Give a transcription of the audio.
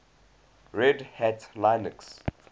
red hat linux